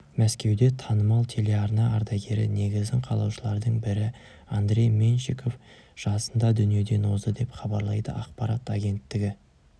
мәскеуде танымал телеарна ардагері негізін қалаушылардың бірі андрей меньшиков жасында дүниеден озды деп хабарлайды ақпарат агенттігі